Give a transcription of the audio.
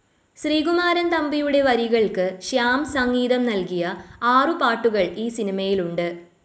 ശ്രീകുമാരൻ തമ്പിയുടെ വരികൾക്ക് ശ്യാം സംഗീതം നൽകിയ ആറു പാട്ടുകൾ ഈ സിനിമയിലുണ്ട്.